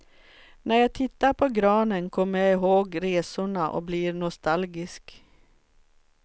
När jag tittar på granen kommer jag ihåg resorna och blir nostalgisk.